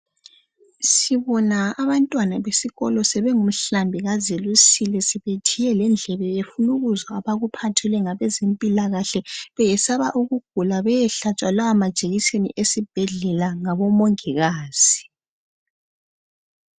Sibona abantwana besikolo sebengumhlambi kazelusile sebethiye lendlebe befuna ukuzwa abakuphathelwe ngabezempilakahle beyesaba ukugula bayehlatshwa lawa majekiseni esibhedlela ngabomongikazi.